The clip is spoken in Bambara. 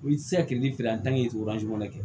U ti se ka kilifeere o kɔnɔ dɛ